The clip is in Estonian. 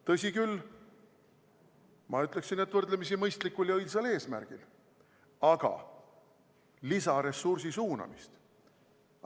Tõsi küll, ma ütleksin, et võrdlemisi mõistlikul ja õilsal eesmärgil, aga lisaressursi suunamist.